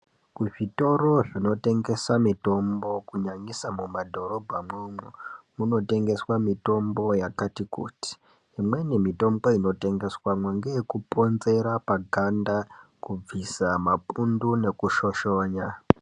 Kuzvitoro zvinotengesa mitombo kunyanyisa mumadhorobha mwomwo munotengeswa mitombo yakati kuti imweni mitombo inotengeswamwo ngeyekuponzera paganda kubvisa mapundo nekushoshonya.